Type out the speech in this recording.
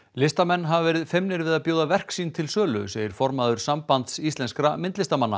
listamenn hafa verið feimnir við að bjóða verk sín til sölu segir formaður Sambands íslenskra myndlistarmanna